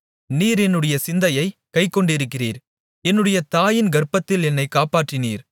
நீர் என்னுடைய சிந்தையைக் கைக்கொண்டிருக்கிறீர் என்னுடைய தாயின் கர்ப்பத்தில் என்னைக் காப்பாற்றினீர்